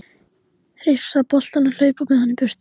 Hrifsa boltann og hlaupa með hann í burtu.